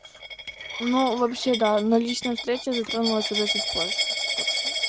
ну вообще да но личная встреча затронулась уже чуть позже так что